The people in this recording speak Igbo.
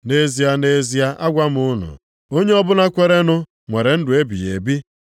Nʼeze, nʼezie agwa m unu, onye ọbụla kwerenụ nwere ndụ ebighị ebi.